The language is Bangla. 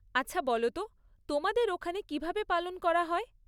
আচ্ছা বলো তো, তোমাদের ওখানে কীভাবে পালন করা হয়?